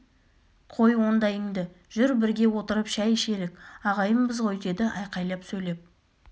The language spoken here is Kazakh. қой ондайыңды жүр бірге отырып шай ішелік ағайынбыз ғой деді айқайлап сөйлеп